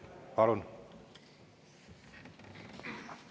Palun!